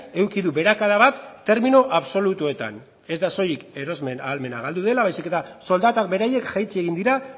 eduki du beherakada bat termino absolutuetan ez da soilik erosmen ahalmena galdu dela baizik eta soldatak beraiek jaitsi egin dira